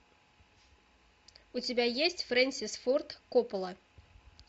у тебя есть фрэнсис форд коппола